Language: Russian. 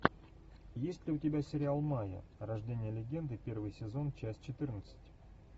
есть ли у тебя сериал майя рождение легенды первый сезон часть четырнадцать